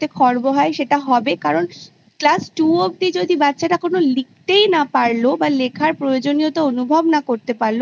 খর্ব হয় সেটা হবে কারণ Class Two অবধি যদি বাচ্ছারা কোনো লিখতেই না পারলো বা লেখার প্রয়োজনীয়তা অনুভব না করতে পারলো